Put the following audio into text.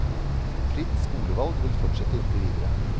Fritt skolevalg vil fortsette inntil videre.